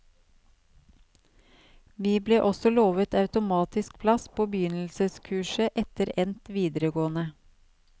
Vi ble også lovet automatisk plass på begynnelseskurset etter endt videregående.